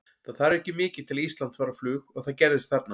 Það þarf ekki mikið til að Ísland fari á flug og það gerðist þarna.